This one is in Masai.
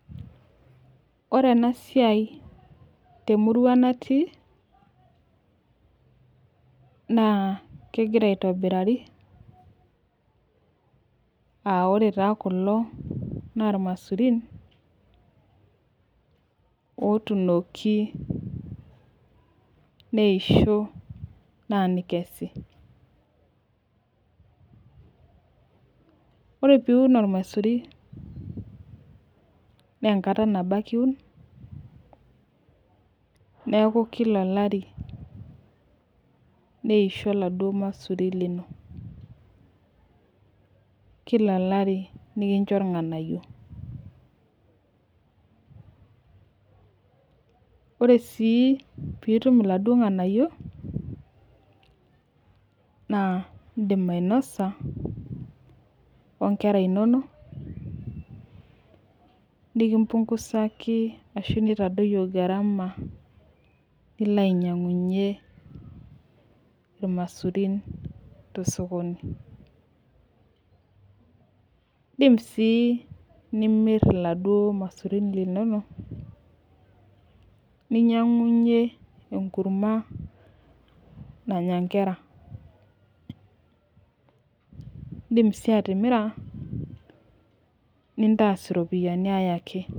Ore ena siai temurua natii naa kegira aitobirari, aa ore taa kulo naa ilamasurin otuunoki neisho naa nikesi. ore pee iun olmasuri naa enkata nabo ake iun neeku Kila olari neisho iladuoo masurin lino. kila olari nikincho ilnganayio. ore sii pee itum iladuoo nganayio naa idim ainosa inkera inonok nitadoyio gharama nilo ainyiangunye ilamasurin tosokoni. idim sii nimir iladuoo masurin kimono ninyiang'unye enkurma nanya nkera. idim sii atimira nitaasa iropiyiani ay ake.